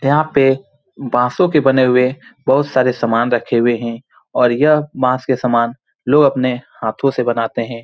यहाँ पे बांसों के बने हुए बहुत सारे सामान रखे हुए हैं और यह बांस के सामान लोग अपने हाथ से बनाते हैं ।